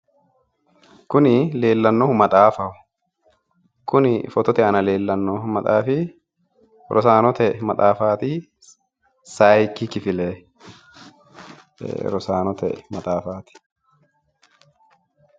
Kuni leellannohu maxaafaho kuni footote aana leellannohu maxaafi rosaanote maxafaati sayiikki kifile rosaanote maxafaati.